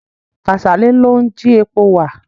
Kàsálí ló ń ji epo wà.